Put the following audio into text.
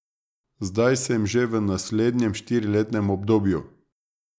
Zdaj sem že v naslednjem štiriletnem obdobju.